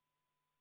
Asi selge!